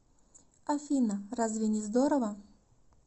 афина разве не здорово